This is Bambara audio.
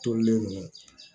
Tolilen ninnu